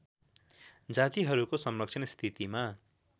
जातिहरूको संरक्षण स्थितिमा